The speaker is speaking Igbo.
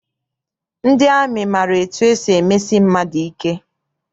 Ndị amị maara etu esi emesi mmadụ ike.